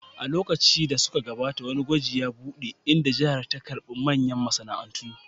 A lokuta da suka gabata, wani gwaji ya buɗe, inda jihar ta karɓi manyan masana'antu